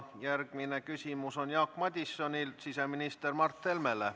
Järgmine küsimus on Jaak Madisonil siseminister Mart Helmele.